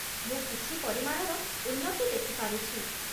ମୁଁ କିଛି ପରିମାଣର ଉନ୍ନତି ଦେଖି ପାରୁଛି।